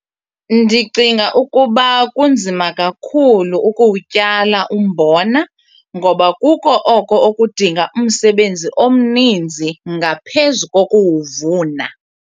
Ndicinga ukuba kunzima kakhulu ukuwutyala umbona ngoba kuko oko okudinga umsebenzi omninzi ngaphezu kokuwuvuna.